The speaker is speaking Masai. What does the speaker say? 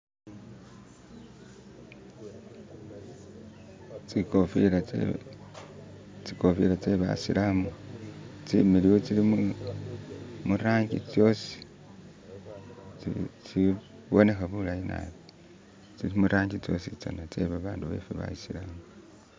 tsikofila tsebasilamu tsimiliyu tsili murangi tsosi tsiboneha bulayi nabi tsili murangi tsositsana tsebabandu befe basiramu